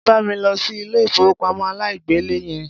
Wá bá mi lọ sí ilé ìfowópamọ́ aláìgbèlé yẹn.